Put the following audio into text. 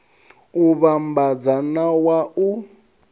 u vhambadza na wa u